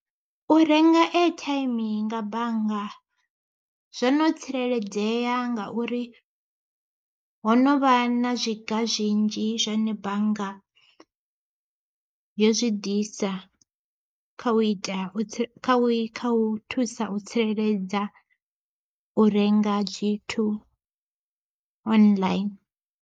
U renga eithaimi nga bannga, zwo no tsireledzea ngauri ho novha na zwiga zwinzhi zwine bannga yo zwi ḓisa kha u ita kha u thusa u tsireledza u renga zwithu online.